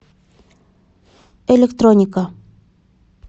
электроника